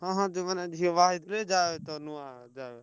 ହଁ ହଁ ଯୋଉମାନ ଝିଅ ବାହାହେଇଥିବେ ଯାଏତ ନୂଆ ଯାଏ।